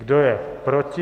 Kdo je proti?